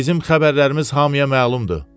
Bizim xəbərlərimiz hamıya məlumdur.